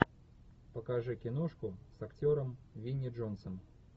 покажи киношку с актером винни джонсом